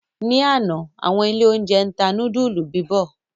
Ni àná, àwọn ilé-oúnjẹ tá núdúlù bíbọ̀.